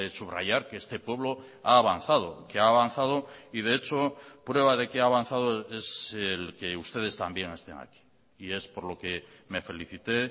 subrayar que este pueblo ha avanzado que ha avanzado y de hecho prueba de que ha avanzado es el que ustedes también estén aquí y es por lo que me felicité